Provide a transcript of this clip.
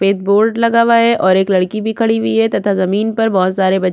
एक बोर्ड लगा हुआ है और एक लड़की भी खड़ी हुई है तथा जमीन पर बहोत सारे बच--